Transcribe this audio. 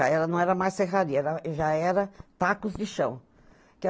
Já era, não era mais serraria, já era tacos de chão.